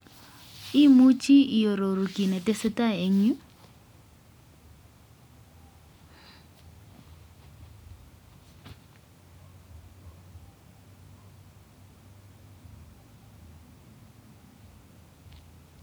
Imuchi iaroru ki netesetai en yu